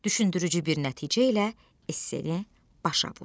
Düşündürücü bir nəticə ilə esse-ni başa vur.